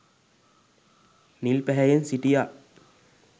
නිල් පැහැයෙන් සිටියා